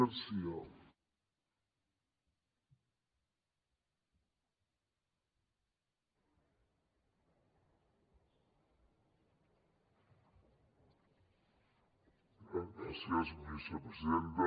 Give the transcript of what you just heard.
gràcies vicepresidenta